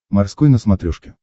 морской на смотрешке